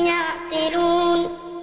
يَعْقِلُونَ